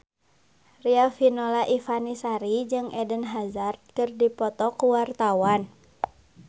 Riafinola Ifani Sari jeung Eden Hazard keur dipoto ku wartawan